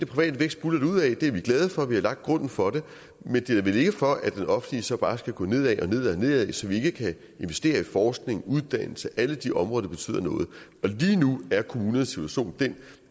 private vækst buldrer derudad det er vi glade for vi har lagt grunden for det men det er vel ikke for at det offentlige så bare skal gå nedad og nedad nedad så vi ikke kan investere i forskning uddannelse og alle de områder der betyder noget lige nu er kommunernes situation den